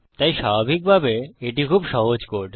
তাই স্বাভাবিকভাবে এটি খুব সহজ কোড